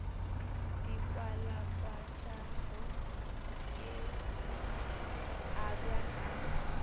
di kwalakwatšago e abja ka